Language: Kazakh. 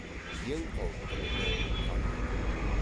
ең қауіптілігі қан кету